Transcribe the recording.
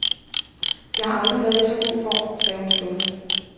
Jeg har aldrig været i så god form, sagde hun skuffet.